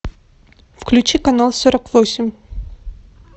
включи канал сорок восемь